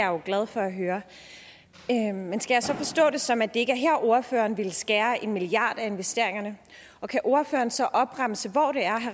jo glad for at høre men skal jeg så forstå det sådan at det ikke er her ordføreren ville skære en milliard kroner af investeringerne og kan ordføreren så opremse hvor det er